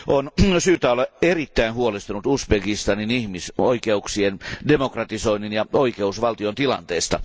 On syytä olla erittäin huolestunut Uzbekistanin ihmisoikeuksien, demokratisoinnin ja oikeusvaltion tilanteesta.